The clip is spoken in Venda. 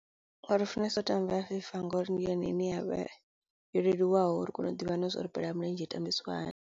funesa u tamba fifa ngori ndi yone ine yavha yo leluwaho ri kono u ḓivha nazwori bola ya milenzhe i tambisiwa hani.